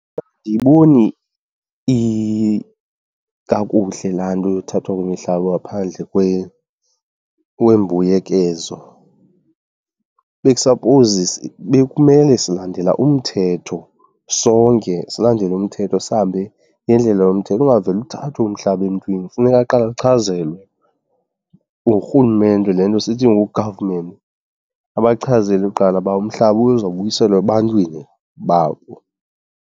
Andiyiboni kakuhle laa nto yothathwa kwemihlaba ngaphandle kwembuyekezo. Bekusapowuzi, bekumele silandela umthetho, sonke silandele umthetho sihambe ngendlela yomthetho, ungavele uthathwe umhlaba emntwini. Funeka aqale achazelwe ngurhulumente, le nto sithi ngu-government, abachazele kuqala uba umhlaba uzobuyiselwa ebantwini babo.